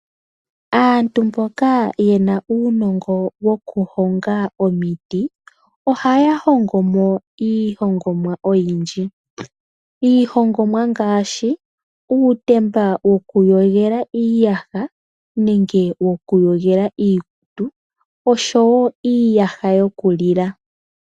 Aantu mboka ye na uunongo wokuhonga omiti ohaya hongo mo iihongomwa oyindji. Iihongomwa ngaashi uutemba wokuyogela iiyaha nenge wokuyogela iikutu oshowo iiyaha yokulila.